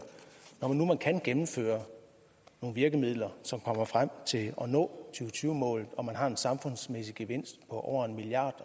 når nu man kan gennemføre nogle virkemidler så man kommer frem til at og tyve målet og man har en samfundsmæssig gevinst på over en milliard